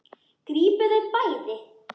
Grípið þau bæði!